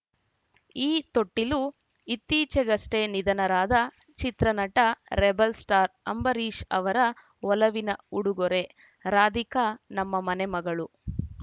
ಈ ತೊಟ್ಟಿಲು ಇತ್ತೀಚೆಗಷ್ಟೇ ನಿಧನರಾದ ಚಿತ್ರನಟ ರೆಬೆಲ್‌ಸ್ಟಾರ್‌ ಅಂಬರೀಷ್‌ ಅವರ ಒಲವಿನ ಉಡುಗೊರೆ ರಾಧಿಕಾ ನಮ್ಮ ಮನೆ ಮಗಳು